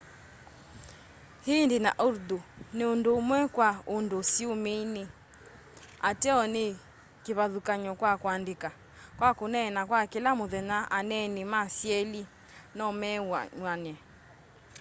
hindi na urdu nundumwe kwa undu siumini ateo ni kivathukany'o kwa kuandika kwa kuneena kwa kila muthenya aneeni ma syeli nomew'ane